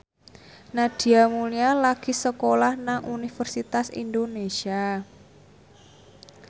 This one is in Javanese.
Nadia Mulya lagi sekolah nang Universitas Indonesia